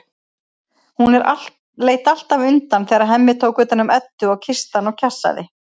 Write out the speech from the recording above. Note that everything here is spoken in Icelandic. Hún leit alltaf undan þegar Hemmi tók utan um Eddu og kyssti hana og kjassaði.